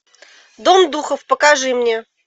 дом духов покажи мне